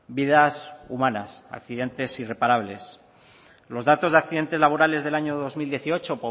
vidas humanas accidentes irreparables los datos de accidentes laborales del año dos mil dieciocho